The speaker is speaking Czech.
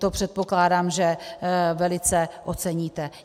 To předpokládám, že velice oceníte.